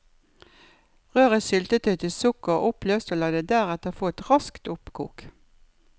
Rør i syltetøyet til sukkeret er oppløst og la det deretter få et raskt oppkok.